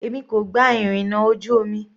Èmi kò gba ìrìnà ojú omi.